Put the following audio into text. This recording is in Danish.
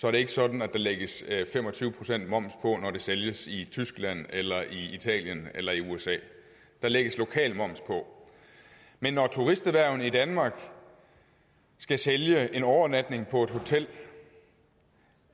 er det ikke sådan at der lægges fem og tyve procent moms på når det sælges i tyskland eller i italien eller i usa der lægges lokal moms på men når turisterhvervene i danmark skal sælge en overnatning på et hotel